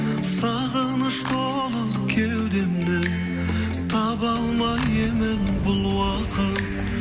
сағыныш болып кеудемді таба алмай емін бұл уақыт